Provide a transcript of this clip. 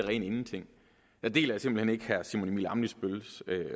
rene ingenting jeg deler simpelt hen ikke herre simon emil ammitzbølls